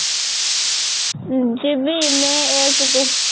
ଉଁ ଯିବି may ଏକେ କୁ